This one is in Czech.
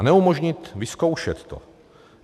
A neumožnit vyzkoušet to?